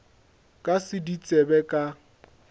ka se di tsebe ka